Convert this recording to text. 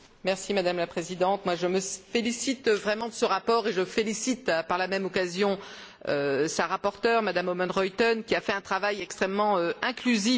Madame la Présidente, je me félicite vraiment de ce rapport et je félicite par la même occasion sa rapporteure, Mme Oomen Ruijten, qui a fait un travail extrêmement inclusif.